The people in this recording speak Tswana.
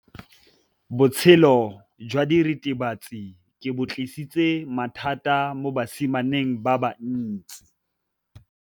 Botshelo jwa diritibatsi ke bo tlisitse mathata mo basimaneng ba bantsi.